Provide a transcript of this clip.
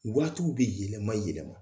Waatiw bɛ yɛlɛma yɛlɛma